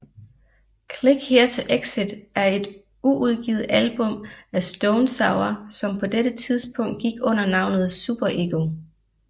Click Here to Exit er et uudgivet album af Stone Sour som på dette tidspunkt gik under navnet SuperEgo